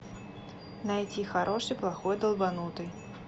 найти хороший плохой долбанутый